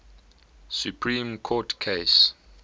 supreme court case